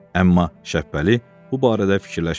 Amma Şəbbəli bu barədə fikirləşmirdi.